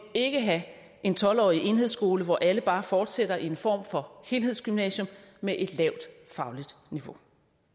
ikke have en tolv årig enhedsskole hvor alle bare fortsætter i en form for helhedsgymnasium med et lavt fagligt niveau